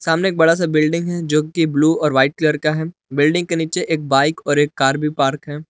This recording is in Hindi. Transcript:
सामने एक बड़ा सा बिल्डिंग है जो की ब्लू और वाइट कलर का है बिल्डिंग के नीचे एक बाइक और एक कार भी पार्क है।